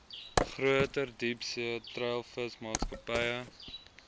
groter diepsee treilvisvangmaatskappye